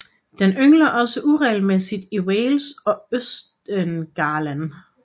Den yngler også uregelmæssigt i Wales og i Østengland